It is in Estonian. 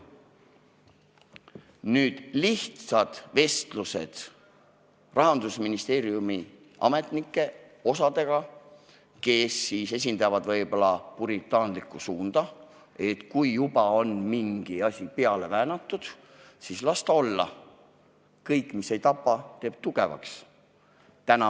Peetud on lihtsaid vestlusi Rahandusministeeriumi ametnikega, nendega, kes esindavad võib-olla puritaanlikku suunda: kui mingi asi on juba peale väänatud, siis las ta olla – kõik, mis ei tapa, teeb tugevaks!